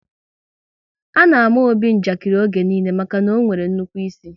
A na àmà Obi njakiri oge niile maka na ọ nwere nnukwu ịsị